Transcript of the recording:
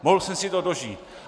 Mohl jsem si to dožít.